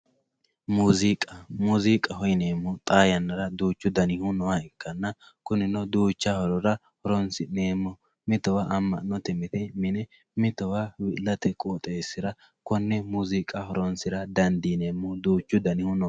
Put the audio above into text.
Muuziqa muziqaho yineemohu xaa yanara duuchu danihu nooha ikkanna kunino duucha danira horonsineemo mitowa ama`note mine mitowa wi`late qooxesira kone muuziqa horonsira dandineemo duuchu danihu no.